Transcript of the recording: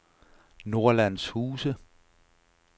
Nordlandshuse